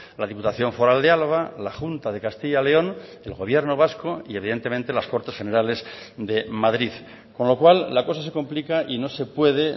la diputación foral de álava la junta de castilla león el gobierno vasco y evidentemente las cortes generales de madrid con lo cual la cosa se complica y no se puede